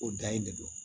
O dan ye de don